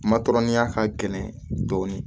Matɔrɔniya ka gɛlɛn dɔɔnin